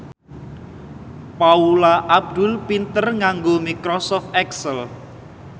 Paula Abdul pinter nganggo microsoft excel